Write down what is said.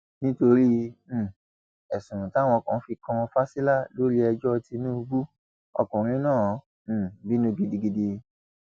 nítorí um ẹsùn táwọn kan fi kan fásilà lórí ẹjọ tínúbù ọkùnrin náà um bínú gidigidi